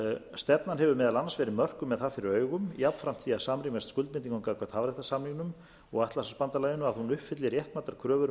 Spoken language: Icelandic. stefnan hefur meðal annars verið mörkuð með það fyrir augum jafnframt því að samrýmast skuldbindingum okkar gagnvart hafréttarsamningnum og atlantshafsbandalaginu að hún uppfylli réttmætar kröfur um